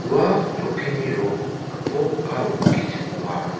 ua chokkini rong gipok aro gisim ong·a.